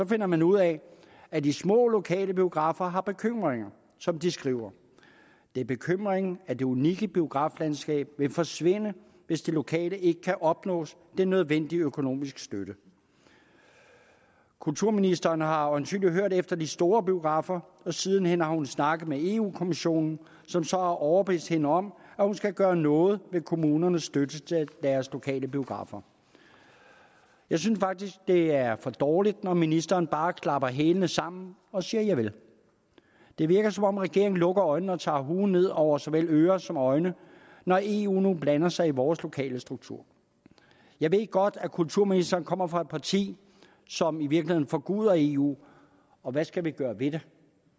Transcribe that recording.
finder man ud af at de små lokale biografer har bekymringer som de skriver det er bekymringen at det unikke biograflandskab vil forsvinde hvis de lokale ikke kan opnå den nødvendige økonomiske støtte kulturministeren har øjensynlig hørt efter de store biografer og siden hen har hun snakket med eu kommissionen som så har overbevist hende om at hun skal gøre noget ved kommunernes støtte til deres lokale biografer jeg synes faktisk det er for dårligt når ministeren bare klapper hælene sammen og siger javel det virker som om regeringen lukker øjnene og tager huen ned over såvel ører som øjne når eu nu blander sig i vores lokale struktur jeg ved godt at kulturministeren kommer fra et parti som i virkeligheden forguder eu og hvad skal vi gøre ved det